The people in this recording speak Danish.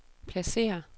pladsér